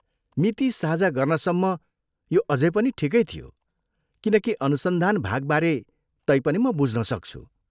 मिति साझा गर्नसम्म यो अझै पनि ठिकै थियो, किनकि अनुसन्धान भागबारे तैपनि म बुझ्न सक्छु।